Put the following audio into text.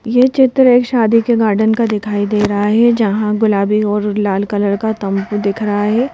ये चित्र एक शादी के गार्डन का दिखाई दे रहा है जहां गुलाबी और लाल कलर का तम्बू दिख रहा है।